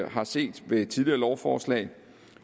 har set ved tidligere lovforslag